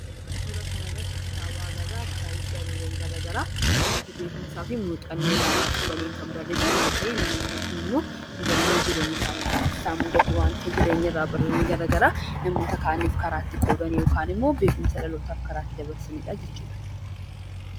Suuraa kanarratti kanagarru suuraa kitaabaadha. Namoota beekumsaa fi muuxannoo olaanaa qabaniin kan barraayee fi namoonni kunimmoo mudanno jireenya keessatti isaan mudate kan irraa baratan garaagaraa namoota kaaniif karaa itti qoodanii fi dhalootaaf karaa itti dabarsanidha.